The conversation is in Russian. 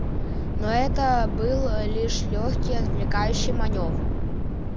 но это был лишь лёгкий отвлекающий манёвр